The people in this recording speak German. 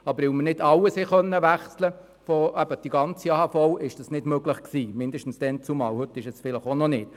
Da wir nicht alles wechseln konnten, war es damals nicht möglich, heute vielleicht schon.